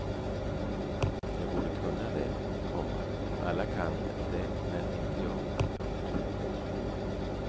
Jag borde kunna det, komma alla kan det men inte jag. punkt